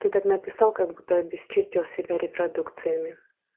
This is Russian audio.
ты так написал как будто обесчестил себя репродукциями